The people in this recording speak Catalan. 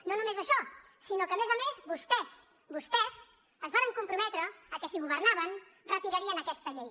no només això sinó que a més a més vostès vostès es varen comprometre a que si governaven retirarien aquesta llei